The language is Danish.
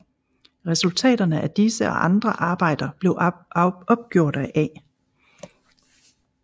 Resultaterne af disse og andre arbejder blev opgjort af A